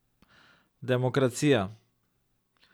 Demokracija.